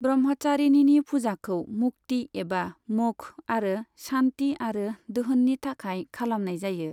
ब्रह्मचारिणीनि फुजाखौ मुक्ति एबा मोक्ष आरो शान्ति आरो दोहोननि थाखाय खालामनाय जायो।